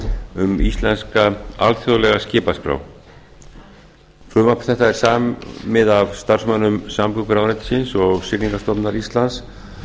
um íslenska alþjóðlega skipaskrá frumvarp þetta er samið af starfsmönnum samgönguráðuneytisins og siglingastofnunar íslands og og